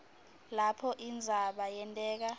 lapho indzaba yenteka